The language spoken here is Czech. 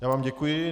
Já vám děkuji.